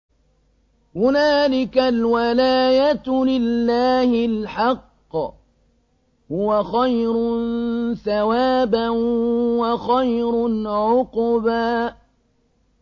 هُنَالِكَ الْوَلَايَةُ لِلَّهِ الْحَقِّ ۚ هُوَ خَيْرٌ ثَوَابًا وَخَيْرٌ عُقْبًا